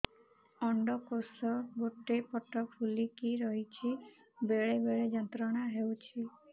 ଅଣ୍ଡକୋଷ ଗୋଟେ ପଟ ଫୁଲିକି ରହଛି ବେଳେ ବେଳେ ଯନ୍ତ୍ରଣା ହେଉଛି